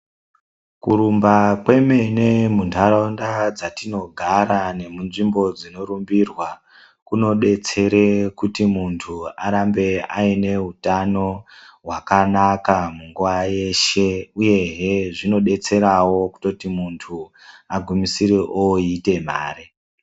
Kurumba kwemene muntaraunda dzatinogara nemunzvimbo dzinorumbirwa kunodetsere kuti muntu arambe aine utano hwakanaka munguwa yeshe uyehe zvinodetserawo kutoti muntu agumisire oita mare.